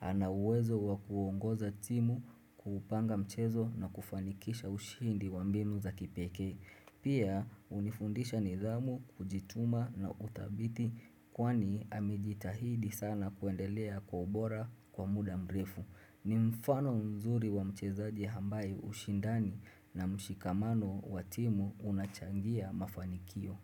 Ana uwezo wa kuongoza timu kuupanga mchezo na kufanikisha ushihindi wa mbimu za kipekee. Pia hunifundisha nidhamu kujituma na uthabiti kwani amejitahidi sana kuendelea kwa bora kwa muda mrefu. Ni mfano mzuri wa mchezaji ambaye ushindani na mshikamano wa timu unachangia mafanikio.